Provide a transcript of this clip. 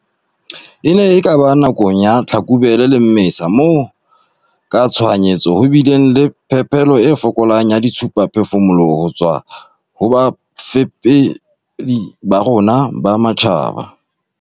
"E ne e ka ba nakong ya Tlhakubele le Mmesa moo ka tshohanyetso ho bileng le phepelo e fokolang ya dithusaphefumoloho ho tswa ho bafepedi ba rona ba matjhaba."